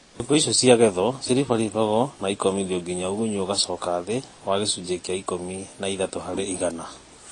cĩongo ĩcĩo cĩagethwo cĩrĩbarĩbagwo na ĩkomĩthĩo ngĩnya ũgũnyũ ũgacoka thĩ wa gĩcũnjĩ kĩa ĩkũmĩ na ĩthatũ harĩ ĩgana